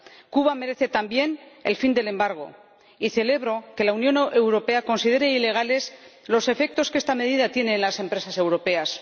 Cuba merece, también, el fin del embargo y celebro que la Unión Europea considere ilegales los efectos que esta medida tiene en las empresas europeas.